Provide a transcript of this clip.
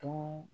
To